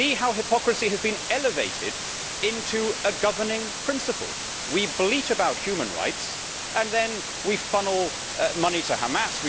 See how hypocrisy has been elevated into a governing principle! We bleat about human rights, and then we funnel money to Hamas.